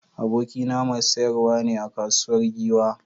Abokina mai sayarwa ne a kasuwar Giwa.